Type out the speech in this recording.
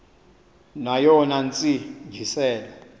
neyona ntsi ngiselo